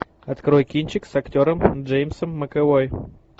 открой кинчик с актером джеймсом макэвой